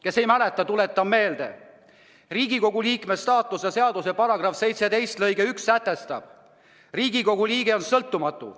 Kes ei mäleta, tuletan meelde, et Riigikogu liikme staatuse seaduse § 17 lõige 1 sätestab: "Riigikogu liige on sõltumatu.